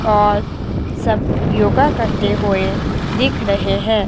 और सब योगा करते हुए दिख रहे हैं।